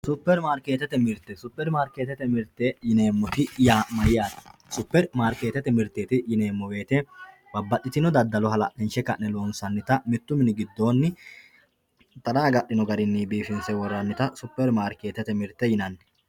Supermarketete mirte supermarketete mirte yinemoti yaa mayate supermarketete mirteti yinemo woyite babaxitino dadalo halalinshe ka`ne loonsanita mittu mini gidooni tara agadhino biifinse woranita supermarketete mirte yinani.